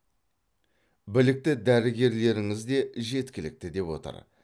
білікті дәрігерлеріңіз де жеткілікті деп отыр